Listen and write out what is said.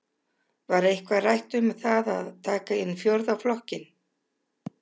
Var eitthvað rætt um það að taka inn fjórða flokkinn?